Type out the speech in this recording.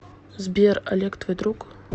сбер олег твой друг